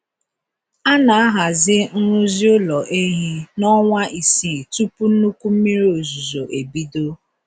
A na-ahazi nrụzi ụlọ ehi na ọnwa isii tupu nnukwu mmiri ozuzo ebido.